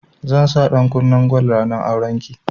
Zan sa ɗankunnen gwal ranar auren ki